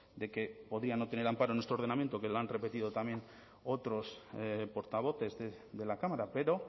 de que podría no tener amparo en nuestro ordenamiento que lo han repetido también otros portavoces de la cámara pero